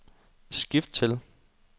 skift til